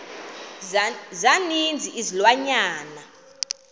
za ninzi izilwanyana